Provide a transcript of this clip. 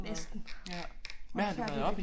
Næsten blev færdig